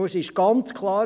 Und es ist ganz klar: